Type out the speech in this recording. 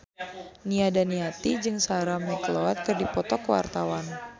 Nia Daniati jeung Sarah McLeod keur dipoto ku wartawan